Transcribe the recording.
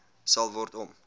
sal word om